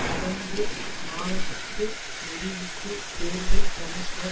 கடந்த மாதத்து முடிவுக்கு தேர்தல் கமிஷனர்